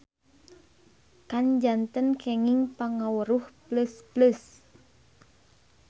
Kan janten kenging pangaweruh pleus-pleus.